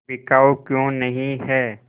बिकाऊ क्यों नहीं है